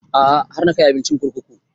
A'a har na kai abincin kurkuku